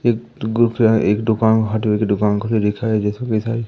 एक एक दुकान खुली दिखाइ इ--